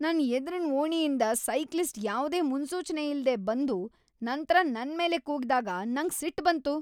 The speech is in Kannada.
ನನ್ ಎದ್ರಿನ ಓಣಿಯಿಂದ್ ಸೈಕ್ಲಿಸ್ಟ್ ಯಾವ್ದೇ ಮುನ್ಸೂಚನೆಯಿಲ್ದೆ ಬಂದು ನಂತ್ರ ನನ್ ಮೇಲೆ ಕೂಗಿದಾಗ ನಂಗ್ ಸಿಟ್ ಬಂತು.